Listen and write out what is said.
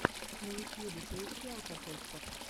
на ютьюбе поищи алкотестер